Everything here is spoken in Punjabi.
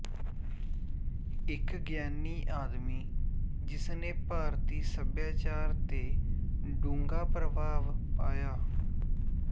ਇੱਕ ਗਿਆਨੀ ਆਦਮੀ ਜਿਸਨੇ ਭਾਰਤੀ ਸੱਭਿਆਚਾਰ ਤੇ ਡੂੰਘਾ ਪ੍ਰਭਾਵ ਪਾਇਆ